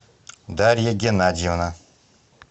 дарья геннадьевна